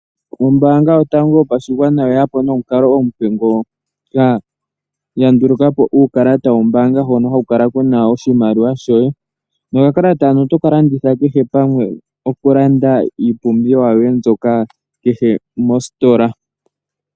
Ombaanga yotango yopashigwana oyeyapo nomukalo omupe, mono ya nduluka po uukalata wombaanga hono haku kala kuna oshimaliwa shoye, nokakalata hoka oto ka longitha kehe pamwe okulanda iipumbiwa yoye, kehe mositola.